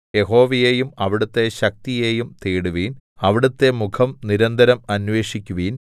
യഹോവയെയും അവിടുത്തെ ശക്തിയെയും തേടുവിൻ അവിടുത്തെ മുഖം നിരന്തരം അന്വേഷിക്കുവിൻ